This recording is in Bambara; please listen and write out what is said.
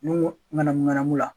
Ɲɔgɔn ŋanamu ŋanamu la